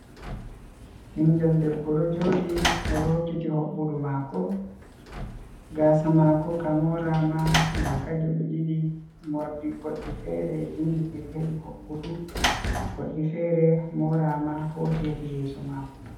Bingel Debbo ɗo jodi oɗo hokkiti hoɓɓudu mako gasa mako ka morama daka geɓe ɗiɗi morɗi fere jimbiti hedi hoɓbudu goddi fere morama hoti hedi yeso mako.